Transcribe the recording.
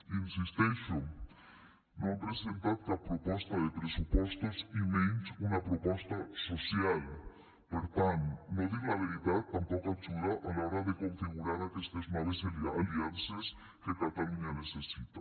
hi insisteixo no han presentat cap proposta de pressupostos i menys una proposta social per tant no dir la veritat tampoc ajuda a l’hora de configurar aquestes noves aliances que catalunya necessita